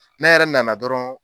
Ne yɛrɛ nana dɔrɔn